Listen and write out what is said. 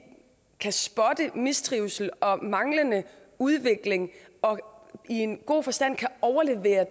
kan spotte mistrivsel og manglende udvikling og i en god forstand kan overlevere